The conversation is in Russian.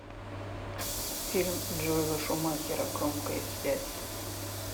фильм джоэла шумахера громкая связь